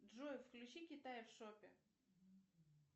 джой включи китай в шопе